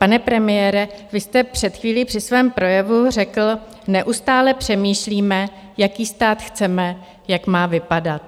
Pane premiére, vy jste před chvílí při svém projevu řekl, neustále přemýšlíme, jaký stát chceme, jak má vypadat.